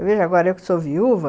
Eu vejo agora, eu que sou viúva,